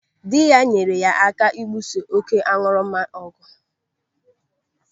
Dị ya nyere ya aka ibuso oké aṅụrụma ọgụ.